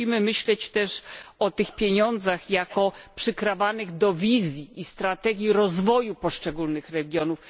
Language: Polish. Musimy myśleć też o tych pieniądzach jako przykrawanych do wizji i strategii rozwoju poszczególnych regionów.